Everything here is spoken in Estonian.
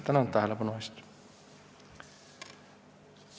Tänan tähelepanu eest!